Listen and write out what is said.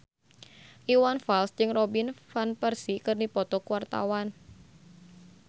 Iwan Fals jeung Robin Van Persie keur dipoto ku wartawan